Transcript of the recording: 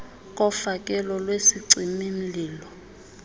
kofakelo lwesicimi mlilo